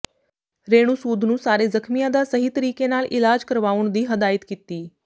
ਰੇਣੂ ਸੂਦ ਨੂੰ ਸਾਰੇ ਜ਼ਖਮੀਆਂ ਦਾ ਸਹੀ ਤਰੀਕੇ ਨਾਲ ਇਲਾਜ ਕਰਵਾਉਣ ਦੀ ਹਦਾਇਤ ਕੀਤੀ